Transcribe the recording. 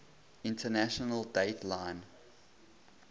international date line